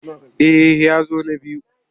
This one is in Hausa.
Eh ya zo na biyu.